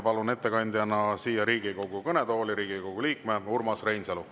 Palun ettekandeks Riigikogu kõnetooli Riigikogu liikme Urmas Reinsalu.